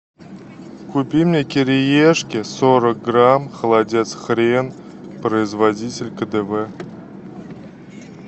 купи мне кириешки сорок грамм холодец хрен производитель кдв